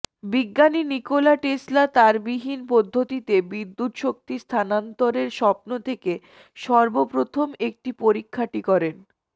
বিজ্ঞানী Nikola Tesla তারবিহীন পদ্ধতিতে বিদ্যুৎ শক্তি স্থানান্তরের স্বপ্ন থেকে সর্বপ্রথম একটি পরীক্ষাটি করেন